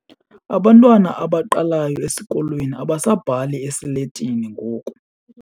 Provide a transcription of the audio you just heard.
Abantwana abaqalayo esikolweni abasabhali esiletini ngoku.